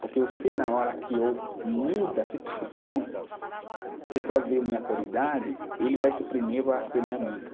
Porque eu sei na hora que eu mudo a situação, a pessoa vê a minha qualidade, ele vai ser o primeiro a ser meu amigo.